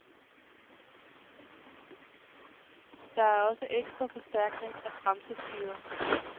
Det er også ekstra forstærkning af bremseskiver.